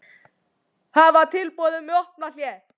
Hafna tilboði um vopnahlé